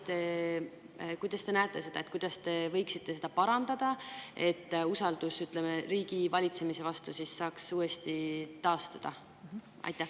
Kuidas te näete, et võiksite seda parandada, et usaldus riigi valitsemise vastu saaks taastuda?